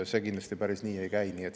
See kindlasti päris nii ei käi.